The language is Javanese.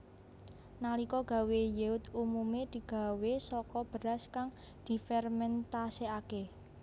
Nalika gawé yeot umume digawé saka beras kang difermentasekake